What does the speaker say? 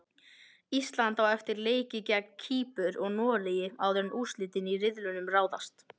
Ísland á eftir leiki gegn Kýpur og Noregi áður en úrslitin í riðlinum ráðast.